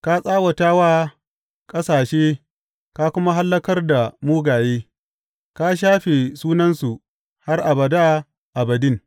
Ka tsawata wa ƙasashe ka kuma hallakar da mugaye; ka shafe sunansu har abada abadin.